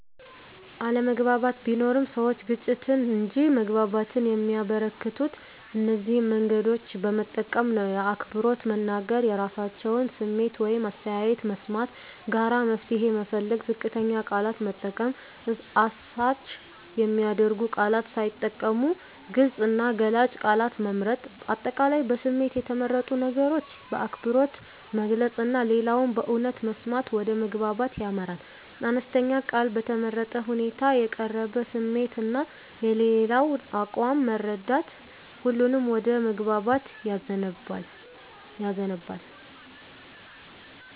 አለመግባባት ቢኖርም፣ ሰዎች ግጭትን እንጂ መግባባትን የሚያበረከቱት እነዚህን መንገዶች በመጠቀም ነው በአክብሮት መናገር – የራሳቸውን ስሜት ወይም አስተያየት መስማት ጋራ መፍትሄ መፈለግ ዝቅተኛ ቃላት መጠቀም – አሳች የሚያደርጉ ቃላት ሳይጠቀሙ ግልጽ እና ገላጭ ቃላት መምረጥ። አጠቃላይ በስሜት የተመረጡ ነገሮችን በአክብሮት መግለጽ እና ሌላውን በእውነት መስማት ወደ መግባባት ያመራል። አነስተኛ ቃል በተመረጠ ሁኔታ የተቀረበ ስሜት እና የሌላው አቋም መረዳት ሁሉንም ወደ መግባባት ያዘንባል።